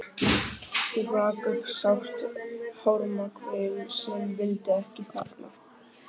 Hún rak upp sárt harmakvein sem vildi ekki þagna.